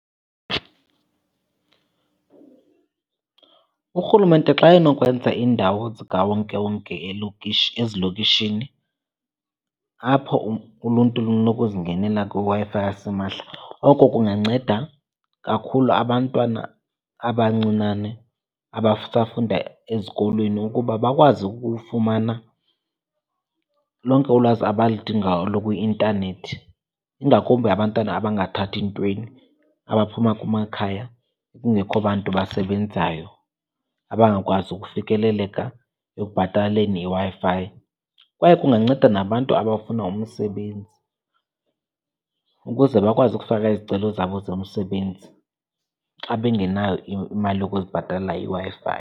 Urhulumente xa enokwenza iindawo zikawonkewonke ezilokishini apho uluntu lunokuzingenela kwiWi-Fi yasimahla, oko kunganceda kakhulu abantwana abancinane abasafunda ezikolweni ukuba bakwazi ukufumana lonke ulwazi abaludingayo olu kwi-intanethi. Ingakumbi abantwana abangathathi ntweni, abaphuma kumakhaya kungekho bantu abasebenzayo abangakwazi ukufikeleleka ekubhataleni iWi-Fi. Kwaye kunganceda nabantu abafuna umsebenzi ukuze bakwazi ukufaka izicelo zabo zomsebenzi xa bengenayo imali yokuzibhatalela iWi-Fi.